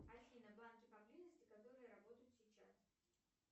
афина банки поблизости которые работают сейчас